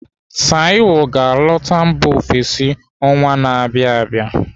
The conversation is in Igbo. Taiwo ga-alọta mba ofesi ọnwa na-abịa abịa.